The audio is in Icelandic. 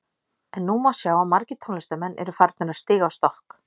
En nú má sjá að margir tónlistarmenn eru að farnir að stíga á stokk.